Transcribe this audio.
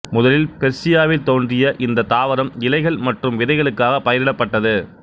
முதலில் பெர்சியாவில் தோன்றிய இந்தத் தாவரம் இலைகள் மற்றும் விதைகளுக்காக பயிரிடப்பட்டது